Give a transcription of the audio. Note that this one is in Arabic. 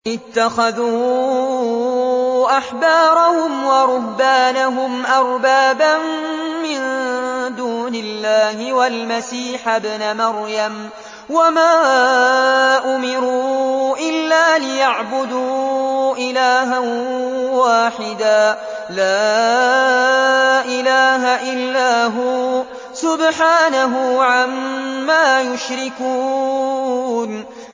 اتَّخَذُوا أَحْبَارَهُمْ وَرُهْبَانَهُمْ أَرْبَابًا مِّن دُونِ اللَّهِ وَالْمَسِيحَ ابْنَ مَرْيَمَ وَمَا أُمِرُوا إِلَّا لِيَعْبُدُوا إِلَٰهًا وَاحِدًا ۖ لَّا إِلَٰهَ إِلَّا هُوَ ۚ سُبْحَانَهُ عَمَّا يُشْرِكُونَ